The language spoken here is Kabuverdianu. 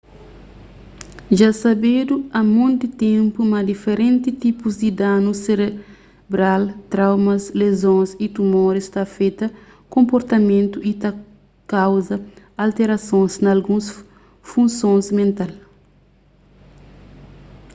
dja sabedu a monti ténpu ma diferenti tipus di danus serebral traumas lezons y tumoris ta afeta konportamentu y ta kauza alterasons na alguns funsons mental